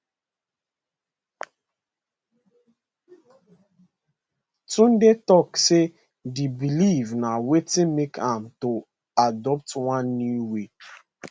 tunde tok say di believe na wetin make am to adopt one new way